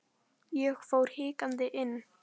Ég fór hikandi inn.